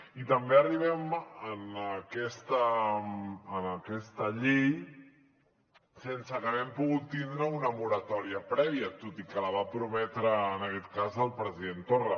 i també arribem a aquesta llei sense que hàgim pogut tindre una moratòria prèvia tot i que la va prometre en aquest cas el president torra